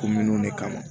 Kominnuw de kama